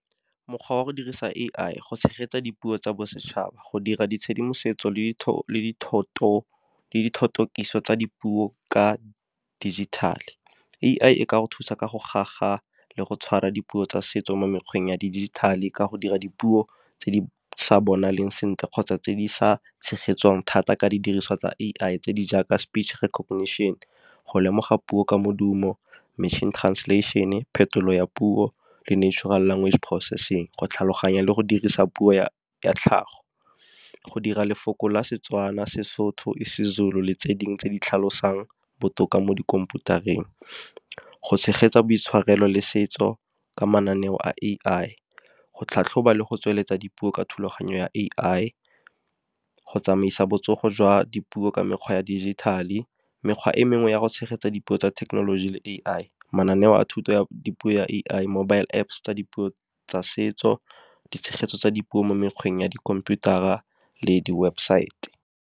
Mokgwa wa go dirisa A_I go tshegetsa dipuo tsa bosetšhaba, go dira ditshedimosetso le tsa dipuo ka jithithale. A_I e ka go thusa ka go le go tshwara dipuo tsa setso mo mekgweng ya dijithale ka go dira dipuo, tse di sa bonaleng sentle kgotsa tse di sa tshegetsang thata ka didiriswa tsa A_I tse di jaaka speech recognition, go lemoga puo ka modumo, machine translation-e, phetolo ya puo le natural language processing. Go tlhaloganya le go dirisa puo ya tlhago. Go dira lefoko la Setswana, Sesotho, seZulu le tse dingwe tse di tlhalosang botoka mo dikhomputareng. Go tshegetsa boitshwarelo le setso ka mananeo a A_I, go tlhatlhoba le go tsweletsa dipuo ka thulaganyo ya A_I, go tsamaisa botsogo jwa dipuo ka mekgwa ya digital-e. Mekgwa e mengwe ya go tshegetsa dipuo tsa thekenoloji le A_I mananeo a thuto ya dipuo ya A_I mobile Apps tsa dipuo tsa setso di tshegetso tsa dipuo mo mekgweng ya dikhomputara le di-website-e.